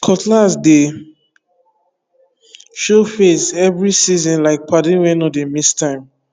cutlass dey show face every seasonlike padi wey no dey miss time